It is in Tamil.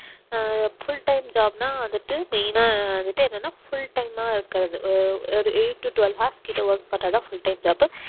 ஆஹ் full time job னா வந்துட்டு main ஆ வந்துட்டு என்னன்னா full time ஆ இருக்குறது ஒரு eight to twelve hours கிட்ட work பண்ணா தான் full time job உ